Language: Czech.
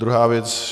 Druhá věc.